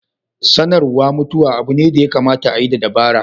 Sanarwa mutuwa abu ne da ya kamata a yi da dabara.